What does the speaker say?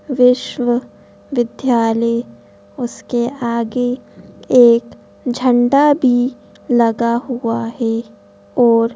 विश्व विद्यालय उसके आगे एक झंडा भी लगा हुआ है और--